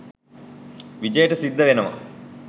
විජේට සිද්ධ වෙනවා